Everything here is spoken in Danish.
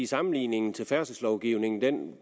sammenligningen til færdselslovgivningen